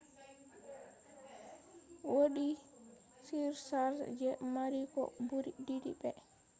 wodi surcharge je mari ko buri didi be